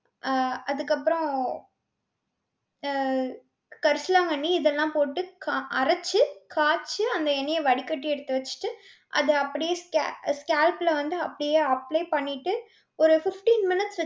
அஹ் அதுக்கப்புறம் அஹ் கரிசலாங்கண்ணி இதெல்லாம் போட்டு க~ அரைச்சு காச்சு அந்த எண்ணெய வடிகட்டி எடுத்து வெச்சிட்டு அத அப்டியே sca~ scalp ல வந்து அப்படியே apply பண்ணிட்டு ஒரு fifteen minutes